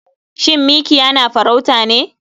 Shin mikiya na farauta ne?